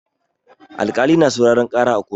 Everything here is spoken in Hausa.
Alƙali na sauraran ƙara a koto.